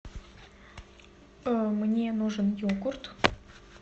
мне нужен йогурт